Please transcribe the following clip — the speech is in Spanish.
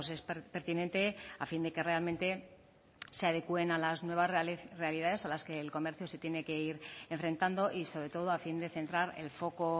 es pertinente a fin de que realmente se adecuen a las nuevas realidades a las que el comercio se tiene que ir enfrentando y sobre todo a fin de centrar el foco